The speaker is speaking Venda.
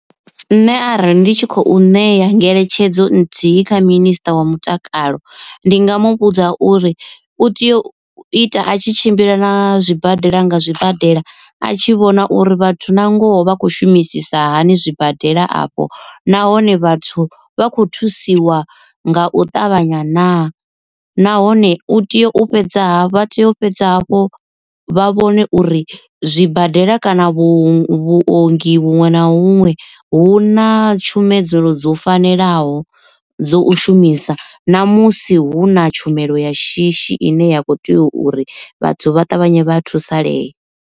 Nṋe arali ndi tshi khou ṋea ngeletshedzo nthihi kha minisiṱa wa mutakalo ndi nga mu vhudza uri u tea u ita a tshi tshimbila na zwibadela nga zwibadela a tshi vhona uri vhathu na ngoho vha khou shumisisa hani zwibadela afho. Nahone vhathu vha kho thusiwa nga u ṱavhanya naa, nahone u tea u fhedza vha tea u fhedza hafhu vha vhone uri zwibadela kana vhuongi huṅwe na huṅwe hu na tshumedzelo dzo fanelaho dzo u shumisa namusi hu na tshumelo ya shishi ine ya khou tea uri vhathu vha ṱavhanye vha thusalee.